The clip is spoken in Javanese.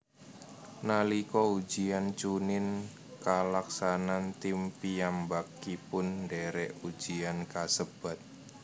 Nalika ujian chuunin kalaksanan tim piyambakipun ndherek ujian kasebat